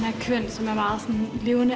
sem er